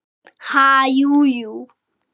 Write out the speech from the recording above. Ha, jú, jú